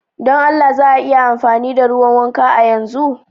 Don Allah za a iya amfani da ruwan wanka a yanzu?